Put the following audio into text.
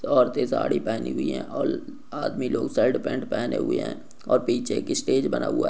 औरतें साड़ी पहनी हुई हैं और आदमी लोग शर्ट पैन्ट पहेने हुए हैं और पीछे एक स्टेज बना हुआ है।